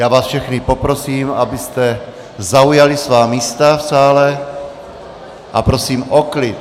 Já vás všechny poprosím, abyste zaujali svá místa v sále, a prosím o klid.